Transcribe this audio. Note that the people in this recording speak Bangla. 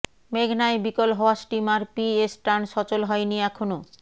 মেঘনায় বিকল হওয়া স্টিমার পিএস টার্ন সচল হয়নি এখনো